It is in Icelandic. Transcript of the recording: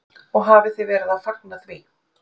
Og þið hafið verið að fagna því?